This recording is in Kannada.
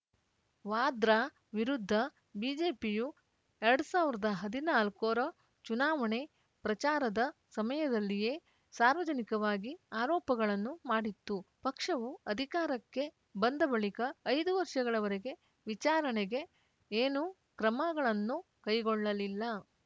ವಾದ್ರಾ ವಿರುದ್ಧ ಬಿಜೆಪಿಯು ಎರಡು ಸಾವಿರ ಹದಿನಾಲ್ಕರ ಚುನಾವಣೆ ಪ್ರಚಾರದ ಸಮಯದಲ್ಲಿಯೇ ಸಾರ್ವಜನಿಕವಾಗಿ ಆರೋಪಗಳನ್ನು ಮಾಡಿತ್ತು ಪಕ್ಷವು ಅಧಿಕಾರಕ್ಕೆ ಬಂದ ಬಳಿಕ ಐದು ವರ್ಷಗಳವರೆಗೆ ವಿಚಾರಣೆಗೆ ಏನೂ ಕ್ರಮಗಳನ್ನು ಕೈಗೊಳ್ಳಲಿಲ್ಲ